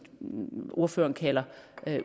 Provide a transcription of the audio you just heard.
ordføreren kalder